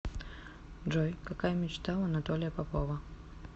джой какая мечта у анатолия попова